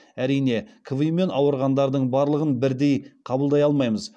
әрине кви мен ауырғандардың барлығын бірдей қабылдай алмаймыз